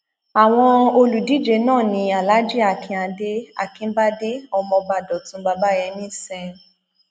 àwọn olùdíje náà ní alhaji akinade akinbádé ọmọọba dọtún bàbáyémí sẹn